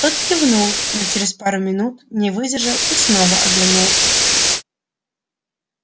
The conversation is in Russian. тот кивнул но через пару минут не выдержал и снова оглянулся